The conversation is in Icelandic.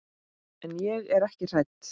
En ég er ekki hrædd.